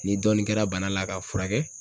Ni dɔɔni kɛra bana la ka furakɛ